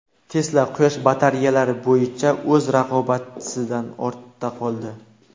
Tesla quyosh batareyalari bo‘yicha o‘z raqobatchisidan ortda qoldi.